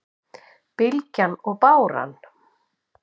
Bylgjan og báran